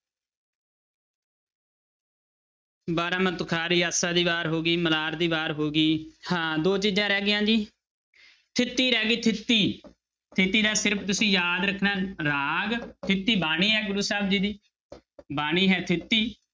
ਬਾਰਾਂਮਾਂਹ ਤੁਖਾਰੀ, ਆਸਾ ਦੀ ਵਾਰ ਹੋ ਗਈ, ਮਲਾਰ ਦੀ ਵਾਰ ਹੋ ਗਈ ਹਾਂ ਦੋ ਚੀਜ਼ਾਂ ਹਰ ਰਹਿ ਗਈਆਂ ਜੀ ਥਿੱਤੀ ਰਹਿ ਗਈ ਥਿੱਤੀ, ਥਿੱਤੀ ਦਾ ਸਿਰਫ਼ ਤੁਸੀਂ ਯਾਦ ਰੱਖਣਾ ਰਾਗ ਥਿੱਤੀ ਬਾਣੀ ਹੈ ਗੁਰੂ ਸਾਹਿਬ ਜੀ ਦੀ ਬਾਣੀ ਹੈ ਥਿੱਤੀ